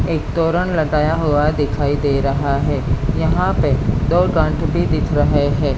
एक तोरण लगाया हुआ दिखाई दे रहा है यहां पे दो गांठ भी दिख रहे है।